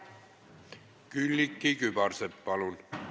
Külliki Kübarsepp, palun!